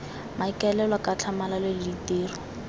maikaelelo ka tlhamalalo le ditiro